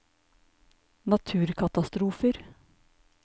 naturkatastrofer